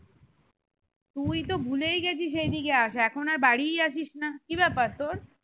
তুই তো ভুলেই গেছিস এই দিকে আসা, এখন আর বাড়িই আসিস না কি ব্যাপার তোর?